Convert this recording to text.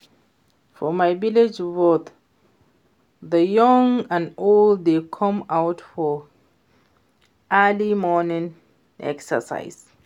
For my village both the young and old dey come out for early morning exercise